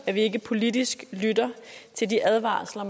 at vi ikke politisk lytter til de advarsler